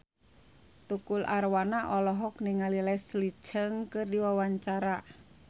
Tukul Arwana olohok ningali Leslie Cheung keur diwawancara